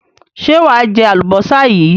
Ṣé wà á jẹ àlùbọ́sà yìí?